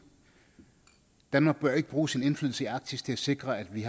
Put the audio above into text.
danmark bør ikke bruge sin indflydelse i arktis til at sikre at vi